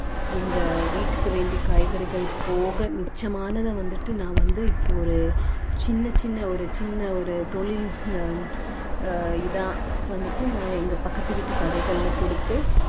எங்க வீட்டுக்கு வேண்டிய காய்கறிகள் போக மிச்சமானதை வந்துட்டு நான் வந்து இப்போ ஒரு சின்ன சின்ன ஒரு சின்ன ஒரு தொழில் இதா வந்துட்டு நான் எங்க பக்கத்து வீட்டு கடைகளில கொடுத்து